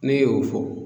Ne y'o fɔ